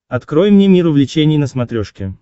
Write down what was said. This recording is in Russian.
открой мне мир увлечений на смотрешке